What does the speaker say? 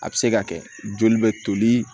A bɛ se ka kɛ joli bɛ toli